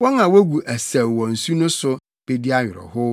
wɔn a wogu asau wɔ nsu no so bedi awerɛhow.